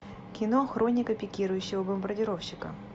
кино хроника пикирующего бомбардировщика